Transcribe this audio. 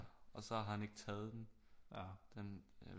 Og så har han ikke taget den den